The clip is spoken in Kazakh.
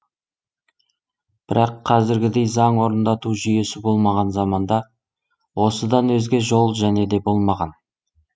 бірақ қазіргідей заң орындату жүйесі болмаған заманда осыдан өзге жол және де болмаған